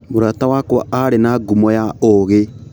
Mũrata wakwa aarĩ na ngumo ya ũũgĩ.